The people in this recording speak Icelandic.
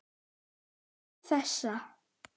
Til þessa.